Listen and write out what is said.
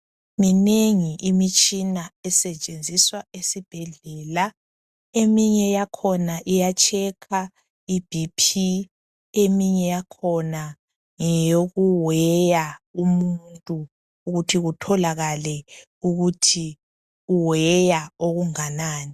Minengi imitshina esetshenziswa esibhedlela eminye yakhona iya checker ibp eminye yakhona ngeyoku weya umuntu ukuthi kutholakale ukuthi uweya okunganani.